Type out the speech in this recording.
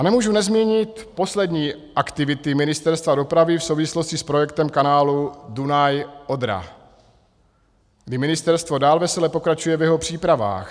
A nemůžu nezmínit poslední aktivity Ministerstva dopravy v souvislosti s projektem kanálu Dunaj - Odra, kdy ministerstvo dál vesele pokračuje v jeho přípravách.